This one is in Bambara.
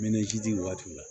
waatiw la